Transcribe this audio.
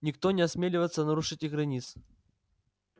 никто не осмеливаеться нарушить их границ